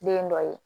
Den dɔ ye